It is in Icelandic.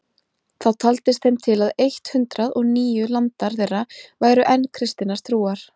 Þá taldist þeim til að eitt hundrað og níu landar þeirra væru enn kristinnar trúar.